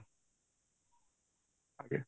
ଆଜ୍ଞା